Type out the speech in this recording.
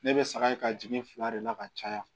Ne bɛ saga in ka jigin fila de la ka caya